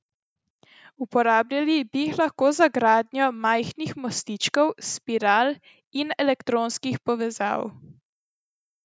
Uporabljali bi jih lahko za gradnjo majhnih mostičkov, spiral in elektronskih povezav.